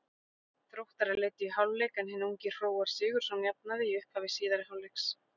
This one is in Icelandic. Þróttarar leiddu í hálfleik en hinn ungi Hróar Sigurðsson jafnaði í upphafi síðari hálfleiks.